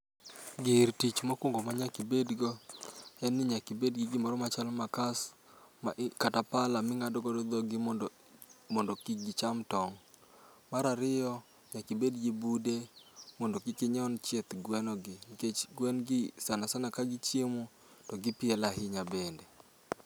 Gir tich mokwongo ma nyakibed go, en ni nyakibed gi gimoro machalo makas kata pala ming'ado go dhog gi mondo kik gicham tong'. Marariyo, nyakibed gi bude mondo kik inyon chieth gweno gi. Nikech gwen gi, sana sana ka gichiemo, to gipielo ahinya bende.